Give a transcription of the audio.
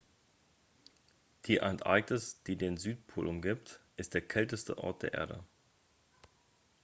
die antarktis die den südpol umgibt ist der kälteste ort der erde